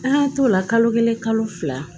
An y'an t'o la kalo kelen kalo fila